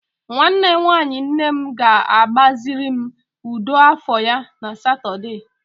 Nwanne nwanyi nne m ga-agbaziri m ụdọ afọ ya na Satọde.